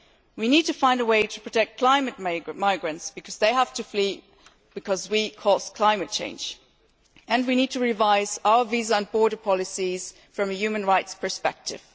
We need to find a way to protect climate migrants, as they have to flee because we cause climate change. We also need to revise our visa and border policies from a human rights perspective.